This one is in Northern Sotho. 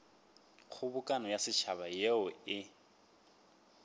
kgobokano ya setšhaba yeo e